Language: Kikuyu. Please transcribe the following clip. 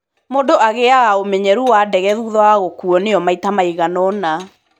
Mũndũ agĩaga ũmenyeru wa ndege thutha wa gũkuuo nĩyo maita maiganona.